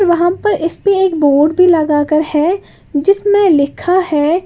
वहां पे इस पे एक बोर्ड भी लगाकर है जिसमें लिखा है--